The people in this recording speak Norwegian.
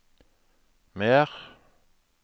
mer